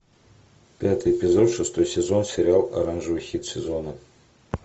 пятый эпизод шестой сезон сериал оранжевый хит сезона